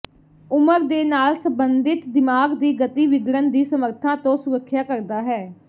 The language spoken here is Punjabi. ਉਮਰ ਦੇ ਨਾਲ ਸਬੰਧਿਤ ਦਿਮਾਗ ਦੀ ਗਤੀ ਵਿਗੜਨ ਦੀ ਸਮੱਰਥਾ ਤੋਂ ਸੁਰੱਖਿਆ ਕਰਦਾ ਹੈ